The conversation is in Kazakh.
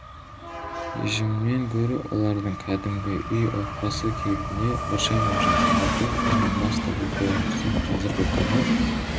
режімнен гөрі олардың кәдімгі үй отбасы кейпіне біршама жақындату оның басты бір көрінісі қазіргі күні